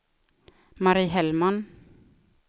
Mari Hellman